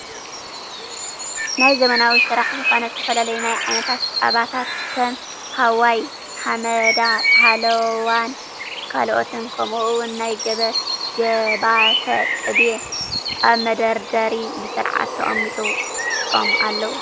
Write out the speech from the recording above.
ናይ ዘመናዊ ስራሕ ዝኮነ ዝተፈላለዩ ናይ ዓይነት ፃባታት ከም ሃዋይ፣ ሃመዳ ሃላዋን ካልኦትን ከምኡውን ናይ ገባተ ቅቤ ኣብ መደርደሪ ብስርዓት ተቀሚጦም ኣለዉ።